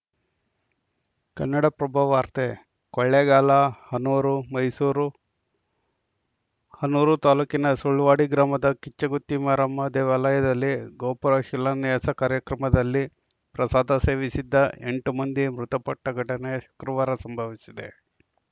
ಕನ್ನಡಪ್ರಭ ವಾರ್ತೆ ಕೊಳ್ಳೇಗಾಲಹನೂರುಮೈಸೂರು ಹನೂರು ತಾಲೂಕಿನ ಸುಳ್ವಾಡಿ ಗ್ರಾಮದ ಕಿಚ್ಚುಗುತ್ತಿ ಮಾರಮ್ಮ ದೇವಾಲಯದಲ್ಲಿ ಗೋಪುರ ಶಿಲಾನ್ಯಾಸ ಕಾರ್ಯಕ್ರಮದಲ್ಲಿ ಪ್ರಸಾದ ಸೇವಿಸಿದ್ದ ಮಂದಿ ಮೃತಪಟ್ಟಘಟನೆ ಶುಕ್ರವಾರ ಸಂಭವಿಸಿದೆ